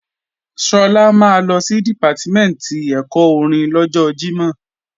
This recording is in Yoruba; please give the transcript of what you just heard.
Sọlá máa lọ sí Dìpátímẹ̀ntì ẹ̀kọ́ orin lọ́jọ Jímọ̀